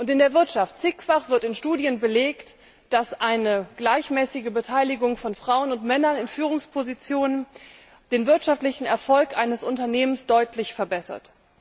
In der Wirtschaft wird in zahlreichen Studien belegt, dass eine gleichmäßige Beteiligung von Frauen und Männern in Führungspositionen den wirtschaftlichen Erfolg eines Unternehmens deutlich verbessert.